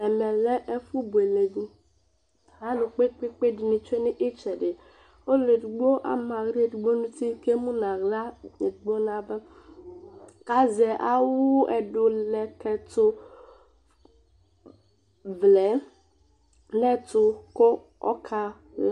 Ɛvɛ lɛ ɛfʊ boelèdʊ, alʊ kpekpekpe dɩnɩ tsoe nʊ ɩtsɛdɩ Ɔlʊedigbo ama aɣla edigbo nʊ ʊtɩ kʊ emʊ nʊ aɣla edigbo nʊ ava Kʊ azɛ awʊ ɛdʊlɛkɛtʊvlɛ nʊ ɛtʊ kʊ ɔkala